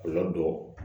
Kɔlɔlɔ dɔ